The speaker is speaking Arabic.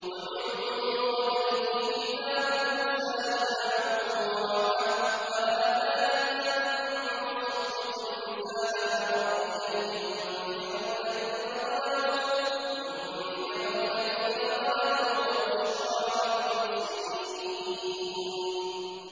وَمِن قَبْلِهِ كِتَابُ مُوسَىٰ إِمَامًا وَرَحْمَةً ۚ وَهَٰذَا كِتَابٌ مُّصَدِّقٌ لِّسَانًا عَرَبِيًّا لِّيُنذِرَ الَّذِينَ ظَلَمُوا وَبُشْرَىٰ لِلْمُحْسِنِينَ